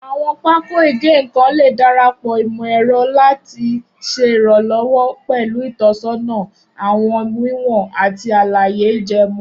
Awọn pákò ìgé-nnkan le darapọ imọ-ẹrọ lati ṣe iranlọwọ pẹlu itọsọna itọnisọna, awọn wiwọn, ati alaye ijẹẹmu.